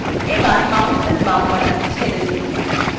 এবার mouseএর বাম button ছেড়ে দিন